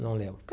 Não lembro.